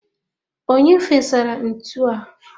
Onye fesara ntu ndi a?